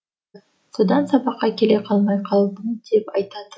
содан сабаққа келе қалмай қалдым деп айтатын